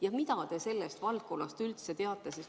Ja mida te sellest valdkonnast üldse teate?